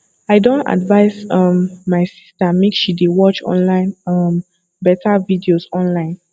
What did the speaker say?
i don advice um my sister make she dey watch online um beta videos online